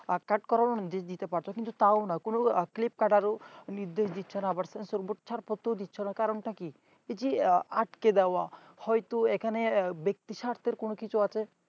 কাট করানো যেতে পারত কিন্তু তাও না কোন clip কাটারও নির্দেশ দিচ্ছেনা আবার sensor board ছাড়পত্র ও দিচ্ছে না কারণটা কি এই যে আটকে দেওয়া হয়তো এখানে ব্যক্তি স্বার্থের কিছু আছে